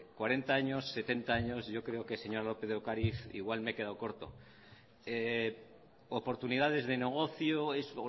cuarenta años setenta años yo creo que señora lópez de ocariz igual me he quedado corto oportunidades de negocio es